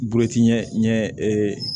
Boloci ɲɛ